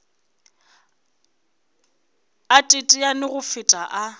a teteane go feta a